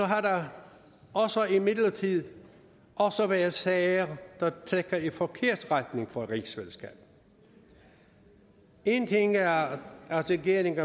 har der imidlertid også været sager der trækker i forkert retning for rigsfællesskabet en ting er at regeringen